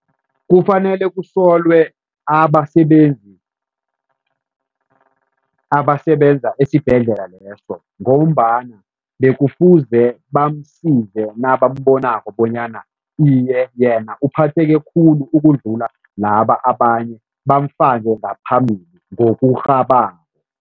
Kufanele kusolwe abasebenzi abasebenza esibhedlela leso ngombana bekufuze bamsize nabambonako bonyana iye yena uphatheke khulu ukudlula laba abanye, bamfake ngaphambili, ngokurhabako.